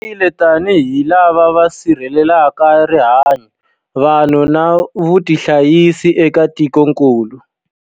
Hi tirhile tanihi lava va sirhelelaka rihanyu, vanhu na vutihanyisi eka tikokulu.